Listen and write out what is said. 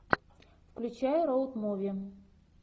включай роуд муви